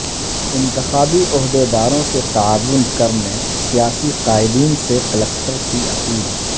انتخابی عہدیداروں سے تعاون کرنے سیاسی قائدین سے کلکٹر کی اپیل